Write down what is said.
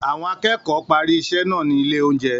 Àwọn akẹ́kọ̀ọ́ parí iṣẹ́ náà ní ilé-oúnjẹ.